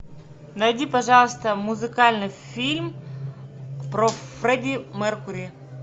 найди пожалуйста музыкальный фильм про фредди меркьюри